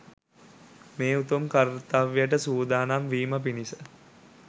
මේ උතුම් කර්ත්‍යවයට සූදානම් වීම පිණිස